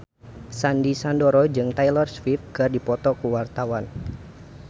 Sandy Sandoro jeung Taylor Swift keur dipoto ku wartawan